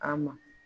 A ma